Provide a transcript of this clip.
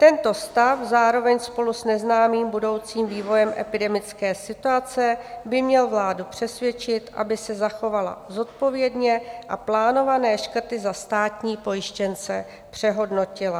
Tento stav zároveň spolu s neznámým budoucím vývojem epidemické situace by měl vládu přesvědčit, aby se zachovala zodpovědně a plánované škrty za státní pojištěnce přehodnotila."